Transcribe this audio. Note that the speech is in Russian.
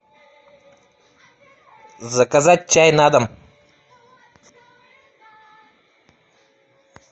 заказать чай на дом